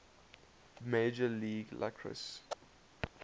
major league lacrosse